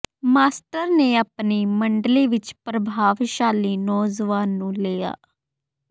master ਨੇ ਆਪਣੀ ਮੰਡਲੀ ਵਿਚ ਪ੍ਰਤਿਭਾਸ਼ਾਲੀ ਨੌਜਵਾਨ ਨੂੰ ਲਿਆ